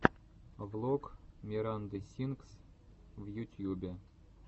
влог миранды сингс в ютьюбе